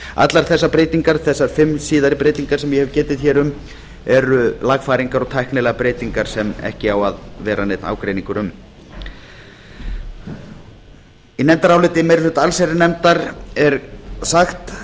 allar þessar breytingar þessar fimm síðari breytingar sem ég hef getið hér um eru lagfæringar og tæknilegar breytingar sem ekki á að vera neinn ágreiningur um í nefndaráliti allsherjarnefndar er sagt